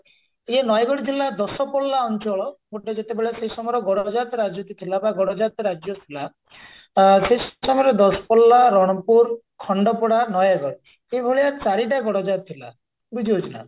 ଇଏ ନୟାଗଡ ଜିଲ୍ଲା ଦଶପଲ୍ଲା ଅଞ୍ଚଳ ଗୋଟେ ଯେତେବେଳେ ସେଇ ସମୟରେ ଗଡାଯାତ ରାଜୁତି ଥିଲା ବା ଗଡଯାତ ରାଜ୍ୟ ଥିଲା ଆ ସେଇ ସମୟରେ ଦଶପଲ୍ଲା, ରଣପୁର, ଖଣ୍ଡପଡା, ନୟାଗଡ ଏଇଭଳିଆ ଚାରିଟା ଗଡଜାତ ଥିଲା ବୁଝିହଉଛି ନା